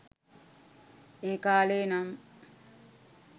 ඒකාලෙ නම්